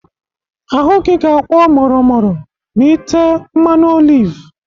Ahụ gị ga-akwọ mọrọ mọrọ ma ị tee mmanụ oliv.